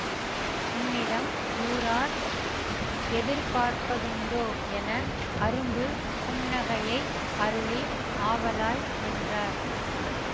உன்னிடம் ஊரார் எதிர்பார்ப்பதுண்டோ யென அரும்பு புன்னகையை அருளி ஆவலாய் நின்றார்